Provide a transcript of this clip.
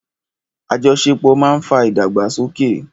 Àjọṣepọ̀ ma ń fa ìdàgbàsókè.